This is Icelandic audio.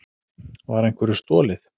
Var einhverju stolið?